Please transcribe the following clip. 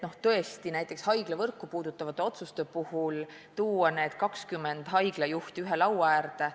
No tõesti, näiteks haiglavõrku puudutavate otsuste puhul on vaja tuua 20 haiglajuhti ühe laua äärde.